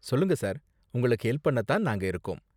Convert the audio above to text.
சொல்லுங்க சார், உங்களுக்கு ஹெல்ப் பண்ண தான் நாங்க இருக்கோம்.